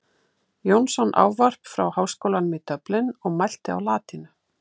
Jónsson ávarp frá Háskólanum í Dublin og mælti á latínu.